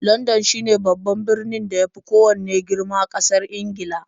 Landan shine birnin da ya fi kowanne girma ƙasar Ingila.